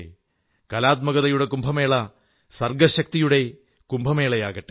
കലാത്മകതയുടെ കുംഭമേള സൃഷ്ടിശക്തികളുടെയും മഹാകുംഭമാകട്ടെ